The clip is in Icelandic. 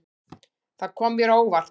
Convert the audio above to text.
Það kom mér á óvart.